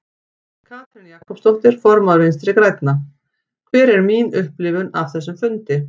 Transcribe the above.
Katrín Jakobsdóttir, formaður Vinstri grænna: Hver er mín upplifun af þessum fundi?